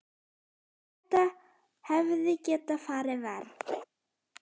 Þetta hefði getað farið verr.